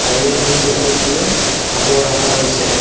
তারিয়ার মধ্যে অনেকগুলা কাপড় রাখা রয়েসে।